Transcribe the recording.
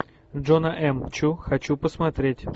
джона м чу хочу посмотреть